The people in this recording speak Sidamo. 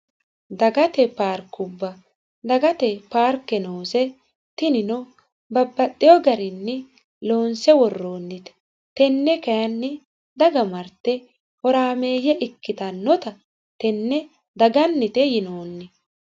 dagate paarkubba dagate paarke noose tinino babbaxeyo garinni loonse worroonnite tenne kayiini daga marte horaameeyye ikkitannota tenne dagannite yinoonni